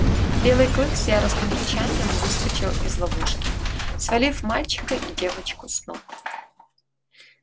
белый клык с яростным рычанием выскочил из ловушки свалив мальчика и девочку с ног